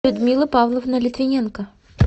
людмила павловна литвиненко